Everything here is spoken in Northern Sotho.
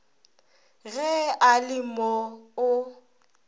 ge a le mo o